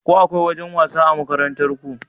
Ko akwai wajen wasa a makarantarku?